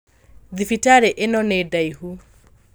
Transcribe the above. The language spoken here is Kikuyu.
Thibitarĩ ĩno nĩ ndaihu